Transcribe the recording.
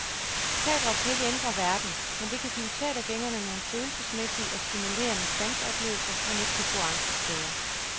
Teatret kan ikke ændre verden, men det kan give teatergængerne nogle følelsesmæssige og stimulerende sanseoplevelser, man ikke kan få andre steder.